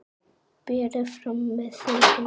Berið fram með þeyttum rjóma.